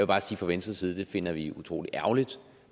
bare sige fra venstres side at vi finder det utrolig ærgerligt